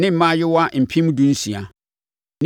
mmaayewa mpem dunsia (16,000).